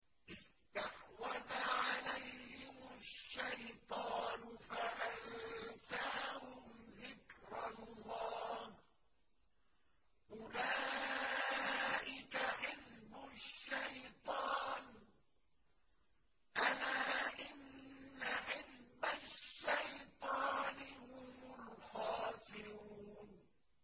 اسْتَحْوَذَ عَلَيْهِمُ الشَّيْطَانُ فَأَنسَاهُمْ ذِكْرَ اللَّهِ ۚ أُولَٰئِكَ حِزْبُ الشَّيْطَانِ ۚ أَلَا إِنَّ حِزْبَ الشَّيْطَانِ هُمُ الْخَاسِرُونَ